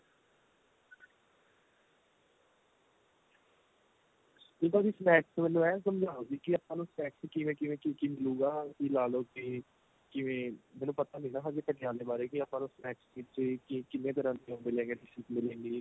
ਠੀਕ ਏ ਵੀ snacks ਮੈਨੂੰ ਇਹ ਸਮਜਾਉ ਕੀ ਆਪਾਂ ਨੂੰ snacks ਵਿੱਚ ਕਿਵੇਂ ਕਿਵੇਂ ਕੀ ਕੀ ਮਿਲੂਗਾ ਕੀ ਲਾ ਲੋ ਬੀ ਕਿਵੇ ਮੈਨੂੰ ਪਤਾ ਨੀਂ ਨਾ ਹਜੇ ਪਟਿਆਲੇ ਬਾਰੇ ਕੀ ਆਪਾਂ ਨੂੰ snacks ਵਿੱਚ ਕਿੰਨੇ ਤਰਾਂ ਦੇ ਉਹ ਮਿਲੇਗੇ dishes ਮਿਲੇਗੀ